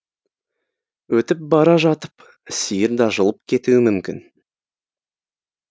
өтіп бара жатып сиыр да жұлып кетуі мүмкін